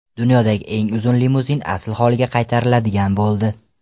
Dunyodagi eng uzun limuzin asl holiga qaytariladigan bo‘ldi.